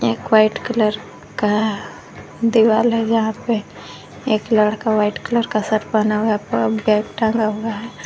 एक white colour का दिवाल है जहां पे एक लड़का वाइट कलर का शर्ट पहना हुआ है ब्राउन बैग टांगा हुआ है।